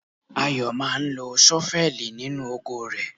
Ayo máa ń lo ṣọ́fẹ́ẹ̀lì nínú oko rẹ̀.